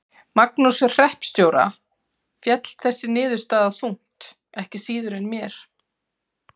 Magnúsi hreppstjóra féll þessi niðurstaða þungt ekki síður en mér.